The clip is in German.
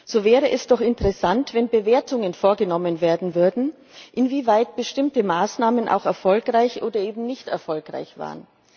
So wäre es doch interessant, wenn Bewertungen vorgenommen werden würden, inwieweit bestimmte Maßnahmen auch erfolgreich oder eben nicht erfolgreich waren.